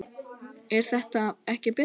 er þetta ekki betra?